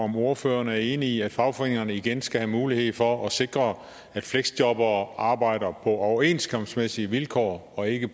om ordføreren er enig i at fagforeningerne igen skal have mulighed for at sikre at fleksjobbere arbejder på overenskomstmæssige vilkår og ikke